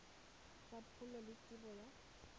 tsa pholo le tebo ya